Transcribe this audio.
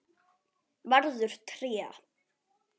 Verður tré.